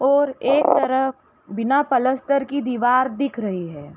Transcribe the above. और एक तरफ बिना पलस्तर कि दीवार दिख रही है।